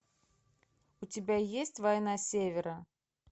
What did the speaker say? у тебя есть война севера